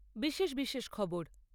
বিশেষ বিশেষ খবর